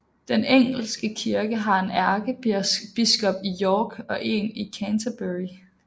Den engelske kirke har en ærkebiskop i York og en i Canterbury